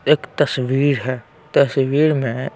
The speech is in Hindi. एक तस्वीर हैं तस्वीर में--